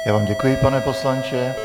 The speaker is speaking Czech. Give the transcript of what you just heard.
Já vám děkuji, pane poslanče.